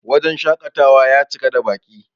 wajen shakatawa ya cika da Baki